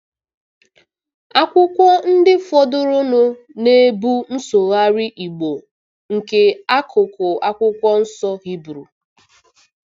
Akwụkwọ ndị fọdụrụnụ na-ebu nsụgharị Igbo nke akụkụ Akwụkwọ Nsọ Hibru.